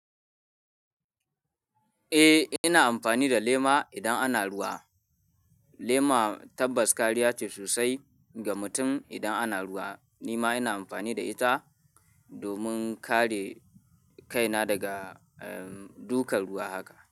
Eh, ina amfani da lema idan ana ruwa. Lema tabbas kariya ce sosai ga mutum idan ana ruwa. Ni ma ina amfani da ita domin kare kaina daga, um, dukan ruwa haka.